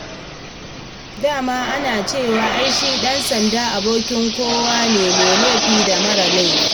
Da ma ana cewa ai shi ɗan-sanda abokin kowa ne: mai laifi da maras laifi.